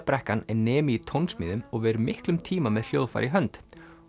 brekkan er nemi í tónsmíðum og ver miklum tíma með hljóðfæri í hönd